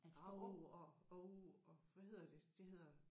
Av og åh og hvad hedder det det hedder